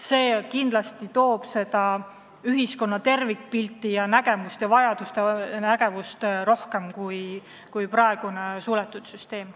See kindlasti võimaldaks meil ühiskonna tervikpilti ja vajadusi näha paremini kui praegune suletud süsteem.